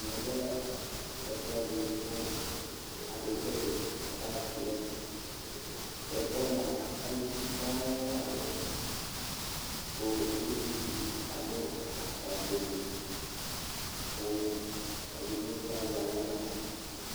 Ɛmɛ lɛ ɛfʋɛdɩ kʋ akekele payɩp nʋ ɛfɛ kʋ ɛfʋ yɛ mʋa, aluvi sɔŋ la dʋ ɛfɛ kʋ uluvi dɩ afʋkpafuele la kʋ edigbo bɩ azɛ aɣla nʋ ɔna